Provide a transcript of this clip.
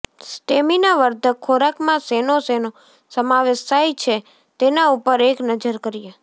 સ્ટેમિનાવર્ધક ખોરાકમાં શેનો શેનો સમાવેશ થાય છે તેના ઉપર એક નજર કરીએ